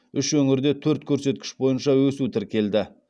үш өңірде төрт көрсеткіш бойынша өсу тіркелді